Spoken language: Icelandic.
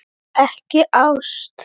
Vill ekki ást.